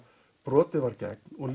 brotið var gegn og